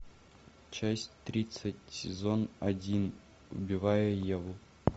часть тридцать сезон один убивая еву